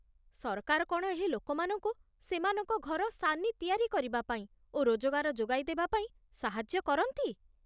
ସରକାର କ'ଣ ଏହି ଲୋକମାନଙ୍କୁ ସେମାନଙ୍କ ଘର ସାନି ତିଆରି କରିବାପାଇଁ ଓ ରୋଜଗାର ଯୋଗାଇ ଦେବାପାଇଁ ସାହାଯ୍ୟ କରନ୍ତି?